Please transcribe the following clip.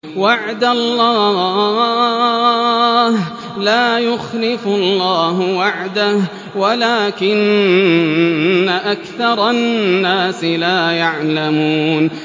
وَعْدَ اللَّهِ ۖ لَا يُخْلِفُ اللَّهُ وَعْدَهُ وَلَٰكِنَّ أَكْثَرَ النَّاسِ لَا يَعْلَمُونَ